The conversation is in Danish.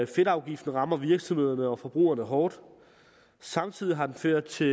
fedtafgiften rammer virksomhederne og forbrugerne hårdt samtidig har den ført til